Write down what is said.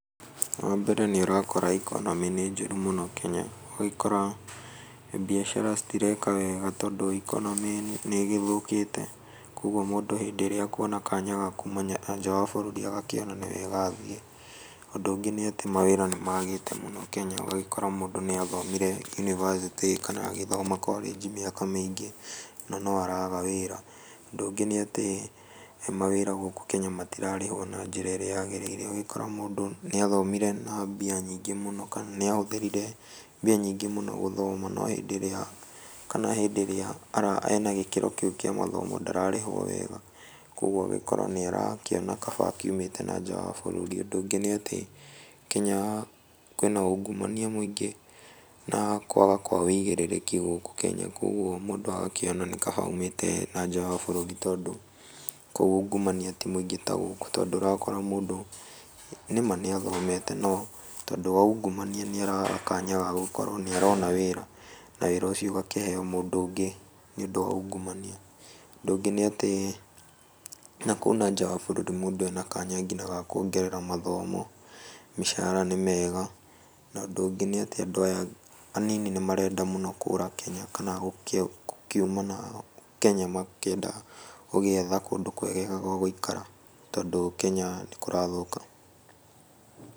Wa mbere nĩ ũrakora ikonomĩ nĩ njũru mũno Kenya. Ũgagĩkora mbiacara citireka weega tondũ ikonomĩ nĩ ĩgĩthũkĩte. Kogwo mũndũ hĩndĩ ĩrĩa akwona kanya ga kuuma nja wa bũrũri agakĩona nĩ wega athiĩ. Ũndũ ũngĩ nĩ atĩ mawĩra nĩ magĩĩte mũno Kenya. Ũgagĩkora mũndũ nĩathomire yunivasĩtĩ, kana mũndũ nĩ athomete korĩnji mĩaka mĩingĩ, na no araga wĩra. Ũndũ ũngĩ nĩ atĩ mawĩra gũkũ Kenya matirarĩhwo na njĩra ĩrĩa yagĩrĩire. Ũgagĩkora mũndũ nĩ athomire na mbia nyingĩ mũno, kana nĩ ahũthĩrire mbia nyingĩ mũno gũthoma, no hĩndĩ ĩrĩa ena gĩkĩro kĩu kĩa mathomo ndararĩhwo wega. Kogwo ũgagĩkora nĩ arakĩona kaba akiumĩte na nja wa bũrũri. Ũndũ ũngĩ nĩ atĩ Kenya kwĩna ungumania mũingĩ, na kwaga kwa ũigĩrĩrĩki gũkũ Kenya, kogwo mũndũ agakĩona nĩ kaba aumĩte na nja wa bũrũri tondũ kũu ungumania ti mũingĩ ta gũkũ, tondũ ũrakora mũndũ nĩ ma nĩathomete no tondũ wa ungumania nĩ araga kanya ga gũkorwo nĩ arona wĩra, na wĩra ũcio ũgakĩheo mũndũ ũngĩ nĩ ũndũ wa ungumania. Ũndũ ũngĩ nĩ atĩ na kũu na nja wa bũrũri mũndũ ena kanya ga kwongerera mathomo, mĩcara nĩ mĩega. Na ũndũ ũngĩ nĩ atĩ andũ aya anini nĩ marenda mũno kũũra Kenya, na gũkiuma Kenya makĩenda gũgĩetha kũndũ kwegega gwa gũikara, tondũ Kenya nĩ kũrathũka.